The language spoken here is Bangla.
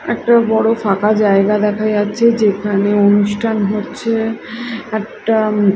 একটা বড় ফাঁকা জায়গা দেখা যাচ্ছে যেখানে অনুষ্ঠান হচ্ছে একটা--